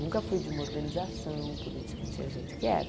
Nunca fui de uma organização política, tinha gente que era.